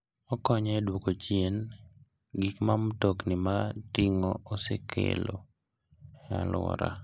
Okonyo e duoko chien gik ma mtokni mag ting'o osekelo e alwora.